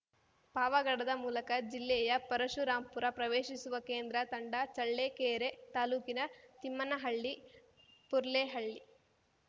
ಪಾವಗಡದ ಮೂಲಕ ಜಿಲ್ಲೆಯ ಪರಶುರಾಂಪುರ ಪ್ರವೇಶಿಸುವ ಕೇಂದ್ರ ತಂಡ ಚಳ್ಳೆಕೆರೆ ತಾಲೂಕಿನ ತಿಮ್ಮನಹಳ್ಳಿ ಪುರ್ಲೆಹಳ್ಳಿ